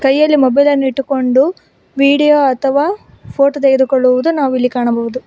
ಕೈಯಲ್ಲಿ ಮೊಬೈಲ್ ಅನ್ನು ಇಟ್ಟುಕೊಂಡು ವಿಡಿಯೋ ಅಥವಾ ಫೋಟೋ ತೆಗೆದುಕೊಳ್ಳುವುದು ನಾವು ಇಲ್ಲಿ ಕಾಣಬಹುದು.